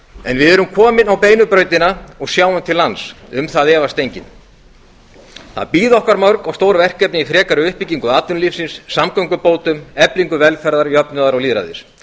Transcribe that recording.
en við erum komin á beinu brautina og sjáum til lands um það efast enginn það bíða okkar mörg og stór verkefni í frekari uppbyggingu atvinnulífsins samgöngubótum eflingu velferðar jafnaðar og lýðræðis